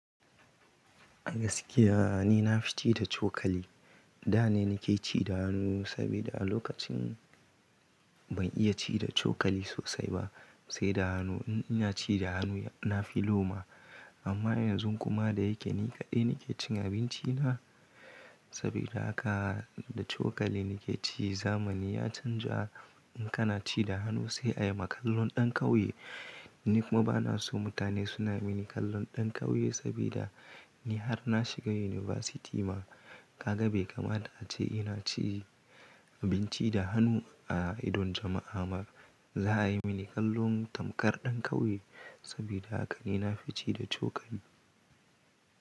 Gaskiya ni na fi ci da cokali. Da ne na ke ci da hannu sabida a lokacin ban iya ci da cokali sosai ba, sai da hanu. In ina ci da hannu na fi loma. Amma yanzun kuma da ya ke ni kaɗai ni ke cin abinci na saboda haka da cokali ni ke ci. Zamani ya canja, in kana ci da hannu sai a yi ma kallon ɗan ƙauye. Ni kuma ba na so mutane su na mini kallon ɗan ƙauye saboda ni har na shiga university ma ka ga bai kamata ace ina ci abinci da hannu a idon jama'a ba. Za a yi mini kallon tamkar ɗan ƙauye saboda haka ni na fi ci da cokali.